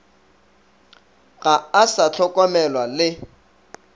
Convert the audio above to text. ga a sa hlokomelwa le